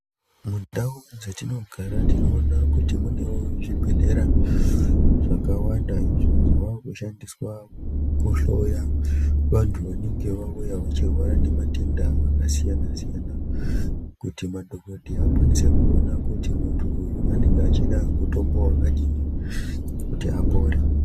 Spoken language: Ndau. Mundau dzatinogara tinoona kuti munewo zvibhedhlera zvakawanda izvo zvaakushandiswa kuhloya vantu vanenge vauya vachirwara nematenda akasiyana-siyana kuti madhogodheya akwanise kuona kuti muntu uyu anenge achida mutombo wakadini kuti apore.